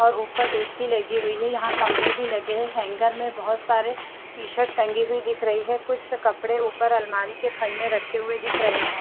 और ऊपर ए_सी लगी हुई है यहां कमरे भी लगे हैं हैंगर में बहुत सारे टीशर्ट टंगी हुई दिख रही है कुछ कपड़े ऊपर अलमारी के खंड में रखे हुए दिख रहे हैं।